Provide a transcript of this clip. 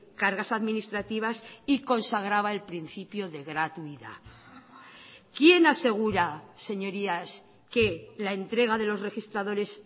cargas administrativas y consagraba el principio de gratuidad quién asegura señorías que la entrega de los registradores